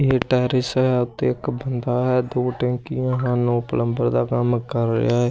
ਇਹ ਟੈਰਿਸ ਹੈ ਅਤੇ ਇੱਕ ਬੰਦਾ ਹੈ ਦੋ ਟੈਂਕੀਆਂ ਹਨ ਉਹ ਪਲੰਬਰ ਦਾ ਕੰਮ ਕਰ ਰਿਹਾ।